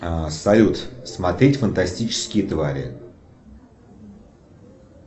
салют смотреть фантастические твари